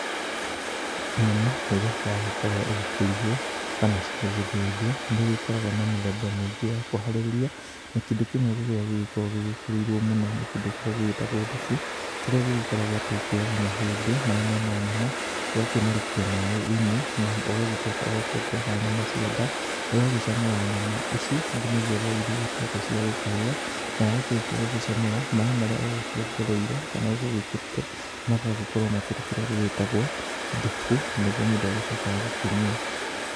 Nyama rĩrĩa yagĩkorwo ĩgĩkĩrugwo kana ĩgithĩnjwo nĩ ĩgĩkoragwo na mĩthemba mĩingĩ ya kũharĩria. Na kĩndũ kĩmwe kĩria gĩgĩkoragwo gĩgĩkĩrĩirwo mũno nĩ kĩndũ kĩrĩa gĩtagwo thubu. Kĩrĩa gĩgĩkoragwo atĩ ũkĩoyaga mahĩndĩ marĩa mena nyama ũgakĩmarikia maaĩ-inĩ na ugacoka ũgakiongerera nyama cia nda. Ũgagĩcamũra nyama ici nginyagia rĩrĩa irĩgĩtuĩka cia gũkĩhĩa. Na wakĩrikia gũgĩcamũra, maaĩ marĩa ũgũkĩongereire kana ũgũgĩkĩrĩte magagĩkorwo makĩri kĩrĩa gĩgĩtagwo thubu na nĩ guo mũndũ agĩcokaga gũkĩnyua.